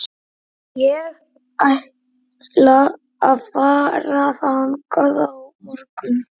Ég ætla að fara þangað á morgun.